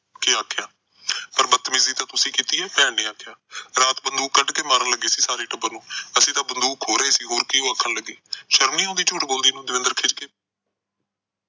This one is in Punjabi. ਕੇ ਆਖਿਆ। ਪਰ ਬਤਮੀਜੀ ਤਾਂ ਤੁਸੀਂ ਕੀਤੀ ਆ, ਭੈਣ ਨੇ ਆਖਿਆ। ਰਾਤ ਬੰਦੂਕ ਕੱਢ ਕੇ ਮਾਰਨ ਲੱਗੇ ਸੀ ਸਾਰੇ ਟੱਬਰ ਨੂੰ। ਅਸੀਂ ਤਾਂ ਬੰਦੂਕ ਖੋਹ ਰਹੇ ਸੀ, ਹੋਰ ਕੀ ਇਹਨੂੰ ਆਖਣ ਲੱਗੇ। ਸ਼ਰਮ ਨੀ ਆਉਂਦੀ ਝੂਠ ਬੋਲਦੀ ਨੂੰ, ਦਵਿੰਦਰ ਖਿਝ ਕੇ